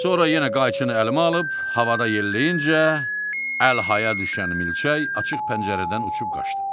Sonra yenə qayıçını əlimə alıb havadan yelləyincə əlhaya düşən milçək açıq pəncərədən uçub qaçdı.